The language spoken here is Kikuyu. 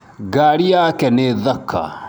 Ngari yake nĩ thaka